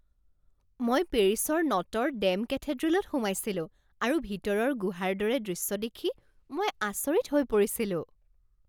মই পেৰিছৰ Notre Dame কেথেড্ৰেলত সোমাইছিলো আৰু ভিতৰৰ গুহাৰ দৰে দৃশ্য দেখি মই আচৰিত হৈ পৰিছিলো।